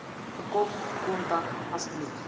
bekom kontak asseblief